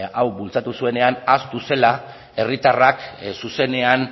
hau bultzatu zuenean ahaztu zela herritarrak zuzenean